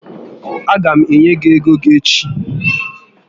A gam enye gị ego gị echi